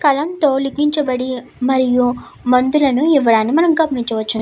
కలం తొలగించబడి మరియు మందులను ఇవ్వడానికి మనం గమనించవచ్చును.